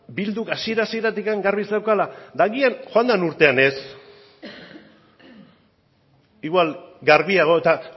bilduk hasiera hasieratik garbi zeukala eta agian joan dan urtean ez igual garbiago eta